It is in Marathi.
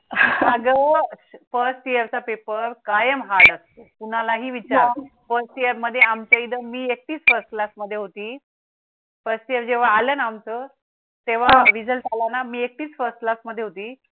first year मध्ये आमच्या इथे मी एकटीच first class मध्ये होती first year जेव्हा आल आमचं तेव्हा result आला मी एकटीच first class मध्ये होती